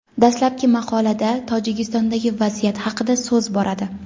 Dastlabki maqolada Tojikistondagi vaziyat haqida so‘z boradi.